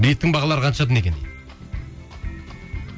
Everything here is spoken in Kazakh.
билеттің бағалары қаншадан екен дейді